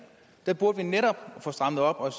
der burde vi netop få strammet op og